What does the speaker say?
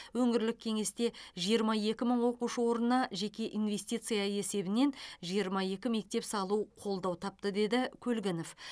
өңірлік кеңесте жиырма екі мың оқушы орнына жеке инвестиция есебінен жиырма екі мектеп салу қолдау тапты деді көлгінов